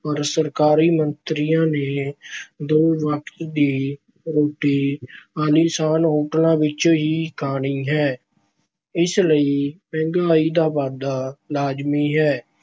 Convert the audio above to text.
ਪਰ ਸਰਕਾਰੀ ਮੰਤਰੀਆਂ ਨੇ ਦੋ ਵਕਤ ਦੀ ਰੋਟੀ ਆਲੀਸ਼ਾਨ ਹੋਟਲਾਂ ਵਿੱਚੋਂ ਹੀ ਖਾਣੀ ਹੈ। ਇਸ ਲਈ ਮਹਿੰਗਾਈ ਦਾ ਵਾਧਾ ਲਾਜ਼ਮੀ ਹੈ।